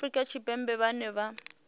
vha afrika tshipembe vhane vha